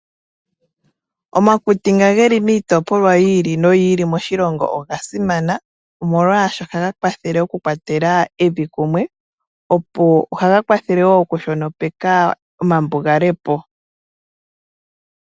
Omakuti ngoka geli miitopolwa yiili noyiili moshilongo oga simana, oshoka ohaga kwathele oku kwatela evi kumwe. Ohaga kwathele wo kushonopeka omambugale po.